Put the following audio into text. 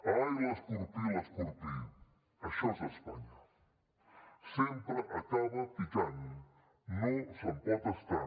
ai l’escorpí l’escorpí això és espanya sempre acaba picant no se’n pot estar